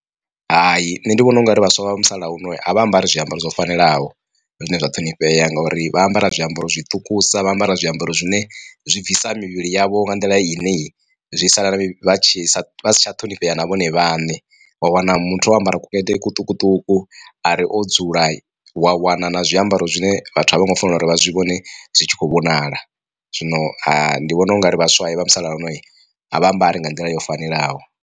Hai nṋe ndi vhona ungari vhaswa vha musalauno a vha ambari zwiambaro zwo fanelaho zwine zwa ṱhonifhea ngauri vha ambara zwiambaro zwiṱukusa, vha ambara zwiambaro zwine zwi bvisa mivhili yavho nga nḓila ine zwi sala vha tshi si tsha ṱhonifhea na vhone vhaṋe. Wa wana muthu o ambara kukete kuṱukuṱuku ari o dzula wa wana na zwiambaro zwine vhathu a vho ngo fanela uri vha zwi vhone zwi tshi khou vhonala zwino ndi vhona ungari vhaswa vha musalauno a vha ambari nga nḓila yo fanelaho.